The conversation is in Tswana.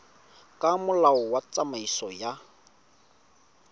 ka molao wa tsamaiso ya